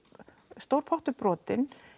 stór pottur brotinn